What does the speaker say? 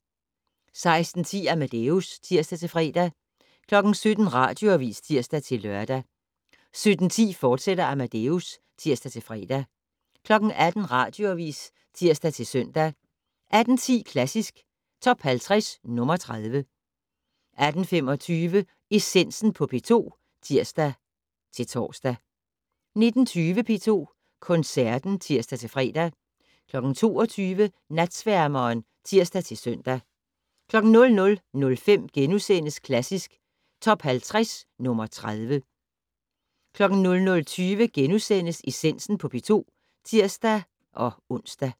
16:10: Amadeus (tir-fre) 17:00: Radioavis (tir-lør) 17:10: Amadeus, fortsat (tir-fre) 18:00: Radioavis (tir-søn) 18:10: Klassisk Top 50 - nr. 30 18:25: Essensen på P2 (tir-tor) 19:20: P2 Koncerten (tir-fre) 22:00: Natsværmeren (tir-søn) 00:05: Klassisk Top 50 - nr. 30 * 00:20: Essensen på P2 *(tir-ons)